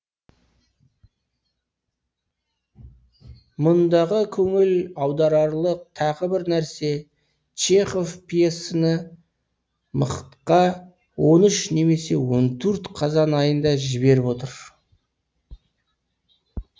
мұндағы көңіл аударарлық тағы бір нәрсе чехов пьесаны мхт ға он үш немесе он төрт қазан айында жіберіп отыр